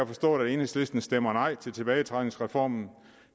forståeligt at enhedslisten stemmer nej til tilbagetrækningsreformen